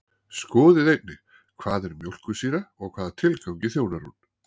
Skoðið einnig: Hvað er mjólkursýra og hvaða tilgangi þjónar hún?